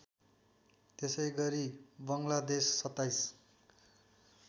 त्यसैगरी बङ्गलादेश २७